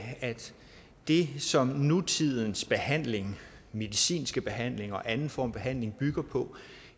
det som nutidens behandling medicinsk behandling og anden form for behandling bygger på